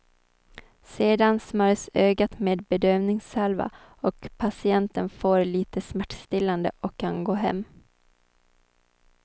Sedan smörjs ögat med bedövningssalva och patienten får lite smärtstillande och kan gå hem.